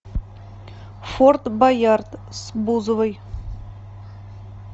форт боярд с бузовой